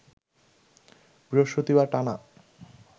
বৃহস্পতিবার টানা